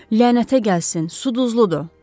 Lənətə gəlsin, su duzludur.